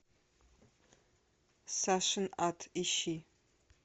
сашин ад ищи